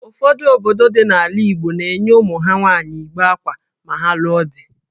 Ụfọdụ obodo dị n’ala Igbo na-enye ụmụ ha nwaanyị igbe akwa ma ha lụọ di